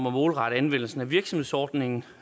at målrette anvendelsen af virksomhedsordningen